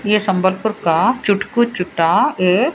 ये संभलपुर का चुटकू चूटा ये--